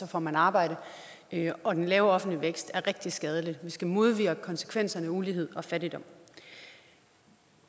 får man arbejde og den lave offentlige vækst er rigtig skadelig vi skal modvirke konsekvenserne af ulighed og fattigdom